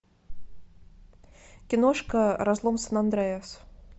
киношка разлом сан андреас